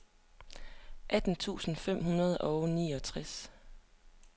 atten tusind fem hundrede og niogtres